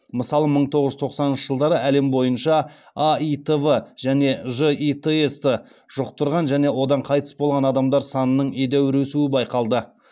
мысалы мың тоғыз жүз тоқсаныншы жылдары әлем бойынша аитв және житс ты жұқтырған және одан қайтыс болған адамдар санының едәуір өсуі байқалды